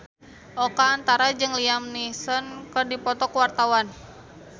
Oka Antara jeung Liam Neeson keur dipoto ku wartawan